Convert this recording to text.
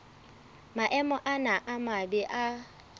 maemo ana a mabe a